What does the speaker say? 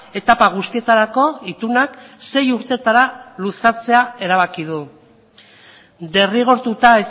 etapa guztietarako itunak sei urteetara luzatzea erabaki du derrigortuta